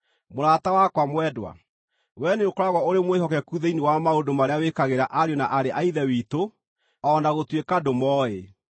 Mũrata wakwa mwendwa, wee nĩũkoragwo ũrĩ mwĩhokeku thĩinĩ wa maũndũ marĩa wĩkagĩra ariũ na aarĩ a Ithe witũ, o na gũtuĩka ndũmooĩ.